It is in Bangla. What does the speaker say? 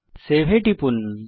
সেভ এ টিপুন